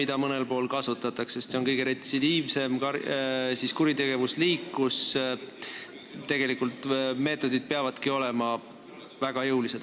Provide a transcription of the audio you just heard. Seda mõnel pool kasutatakse, sest pedofiilia on kõige retsidiivsem kuritegevusliik, mille karistamise meetodid peavadki olema väga jõulised.